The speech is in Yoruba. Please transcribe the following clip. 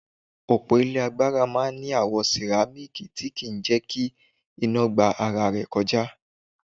Òpó ilé agbára máa ń ní àwo sìrámíkì tí kì ń jẹ́ kí iná gba ara rẹ̀ kọjá.